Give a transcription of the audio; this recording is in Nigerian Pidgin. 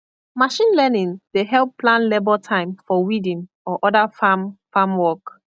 machine learning dey help plan labor time for weeding or other farm farm work